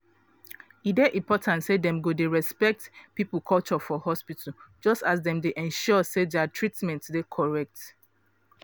e dey important say dem go dey respect people culture for hospital just as dem dey ensure say dia treatment dey correct.